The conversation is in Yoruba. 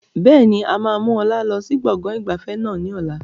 Bẹ́ẹ̀ni, a máa mú ọlá lọ sí gbọ̀ngàn ìgbafẹ́ náà ni ọ̀la.